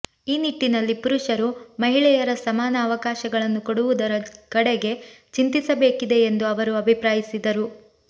ಈ ನಿಟ್ಟಿನಲ್ಲಿ ಪುರುಷರು ಮಹಿಳೆಯರ ಸಮಾನ ಅವಕಾಶಗಳನ್ನು ಕೊಡುವುದರ ಕಡೆಗೆ ಚಿಂತಿಸಬೇಕಿದೆ ಎಂದು ಅವರು ಅಭಿಪ್ರಾಯಿಸಿದರು